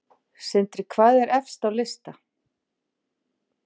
Sindri: Hvað er efst á lista?